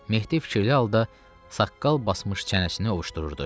Mehdi fikirli halda saqqal basmış çənəsini ovuşdururdu.